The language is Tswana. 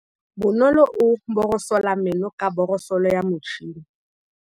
Bonolô o borosola meno ka borosolo ya motšhine.